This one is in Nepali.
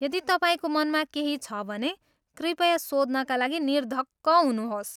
यदि तपाईँको मनमा केही छ भने कृपया सोध्नका लागि निर्धक्क हुनुहोस्।